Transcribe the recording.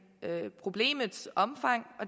problemets omfang